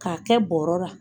K'a kɛ bɔrɔ la.